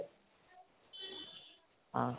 অহ